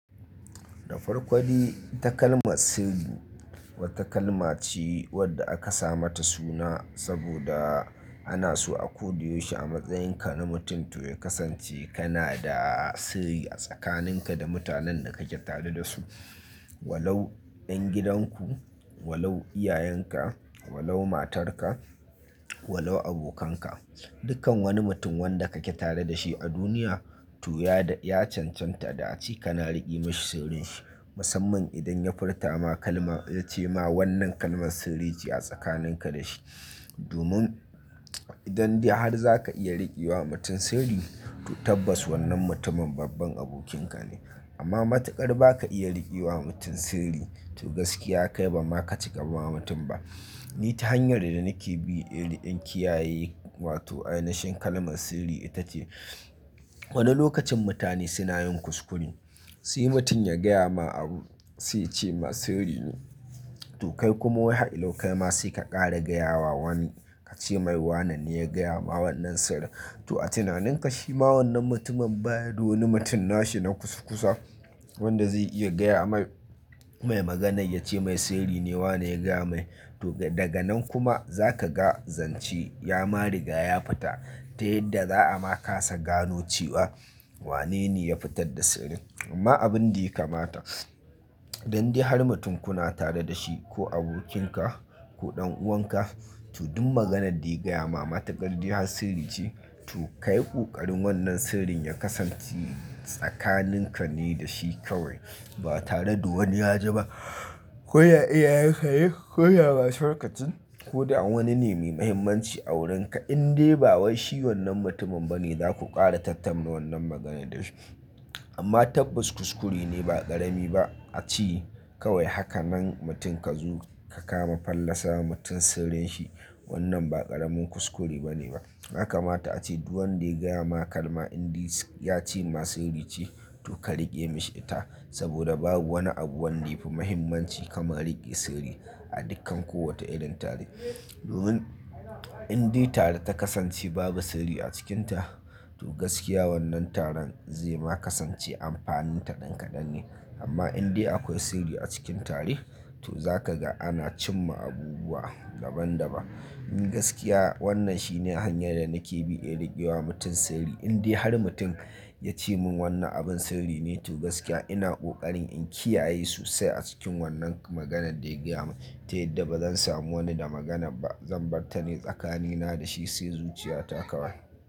Da farkodai takalma sirri wata kalma ce wadda aka sa mata suna saboda ana so akoda yaushe a matsayinka na mutum to ya kasance kana da sirri a tsakaninka da mutanen da kake tare da su. Walau 'yan gidan ku, walau iyayenka, walau matarka, walau abokanka, dukkan wani mutum wanda kake tare da shi a duniya to ya cancanta da ace kana riƙe mishi sirrin shi. Musamman idan ya furta ma kalma ya ce ma wannan kalman sirri ce a tsakaninka da shi. Domin idan da har za ka iya riƙe wa mutum sirri, to tabbas wannan mutumin babban abokinka ne. Amma matukar ba ka iya riƙe wa mutum sirri to gaskiya kai bama ka cika wa mutum ba. Ni ta hanyar da nake bi in kiyaye wato ainahin kalman sirri ita ce, wani lokacin mutane suna yin kuskure, sai mutum ya gaya ma abu sai ce ma sirri ne. To kai kuma wai har yau ma sai ka ƙara gaya wa wani ka ce mai wannan ne ya gaya ma wannan sirri. To a tunaninka shi ma wannan mutumin ba yada wani mutum nashi na kusakusa wanda zai iya gaya mai maganan ya ce mai sirri ne wane ya gaya mai. To daga nan kuma za ka ga zance yama riga ya fita, ta yadda za a ma kasa gano cewa wane ne ya fitar da sirrin. Amma abinda ya kamata, dan dai har mutum kuna tare da shi ko abokinka ko ɗan'uwanka to duk magana da gaya ma matukar dai har sirri ce to kai kokarin wannan sirrin ya kasance tsakanin ka ne dashi kawai ba tare da wani ya ji ba. Ko ya iyayenka ne ko ya matarka ce ko da wani ne mai muhimmanci a wurinka in dai ba wai shi wannan mutumin ba ne za ku ƙara tattamna wannan maganar da shi. Amma tabbas kuskure ne ba ƙarami ba. A ce kawai haka nan mutum ka zo ka kama fallasa ma mutum sirrin shi wannan ba ƙaramin kuskure ba ne ba. Haka mata a ce duk wanda ya gaya ma kalma in dai ya ce ma sirri ce to ka riƙe mishi ita saboda babu wani abu wanda yafi muhimmanci kamar riƙe sirri a dukkan kowace irin tare. Domin in dai tare ta kasance babu sirri a cikinta to gaskiya wannan taron zai ma kasance amfanin ta ɗan kaɗan ne. Amma in dai akwai sirri a cikin tare to za ka ga ana cimma abubuwa daban-daban. Gaskiya wannan shine hanyar da nake bi in riƙewa mutum sirri nai. In dai har mutum ya ce mun wannan abin sirri ne to gaskiya ina kokarin in kiyaye sosai a cikin wannan maganar da yagaya mun. Ta yadda ba zan samu wani da magana ba zan batta ne tsakanina da shi sai zuciya ta kawai.